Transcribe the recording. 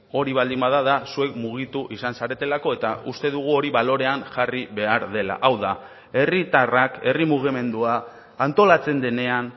hori baldin bada da zuek mugitu izan zaretelako eta uste dugu hori balorean jarri behar dela hau da herritarrak herri mugimendua antolatzen denean